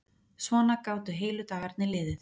Svona gátu heilu dagarnir liðið.